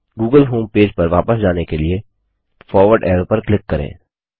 Google homepage पर वापस जाने के लिए फॉरवर्ड एरो पर क्लिक करें